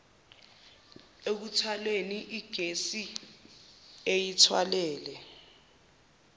ekuthwaleni igesi eyithwalele